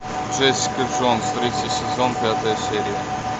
джессика джонс третий сезон пятая серия